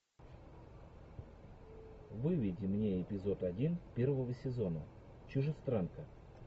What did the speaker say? выведи мне эпизод один первого сезона чужестранка